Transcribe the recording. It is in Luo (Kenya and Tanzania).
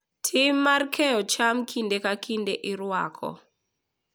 Tim mar keyo cham kinde ka kinde irwako .